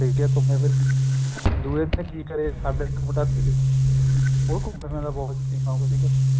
ਘੁੱਮੇ ਫਿਰੇ ਦੁਹੇ ਦਿਨ ਕਿ ਕਰਿਆ ਸਾਡੇ ਨਾਲ ਇੱਕ ਮੁੰਡਾ ਸੀ ਉਹ ਘੁੱਮਣ ਫਿਰਣ ਦਾ ਬਹੁਤ ਸੋਕੀਨ ਸੀਗਾ